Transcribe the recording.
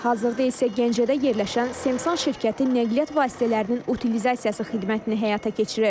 Hazırda isə Gəncədə yerləşən Semsan şirkəti nəqliyyat vasitələrinin utilizasiyası xidmətini həyata keçirir.